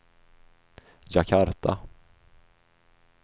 Jakarta